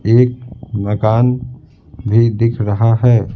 एक मकान भी दिख रहा है।